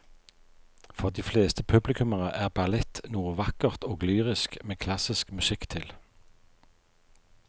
For de fleste publikummere er ballett noe vakkert og lyrisk med klassisk musikk til.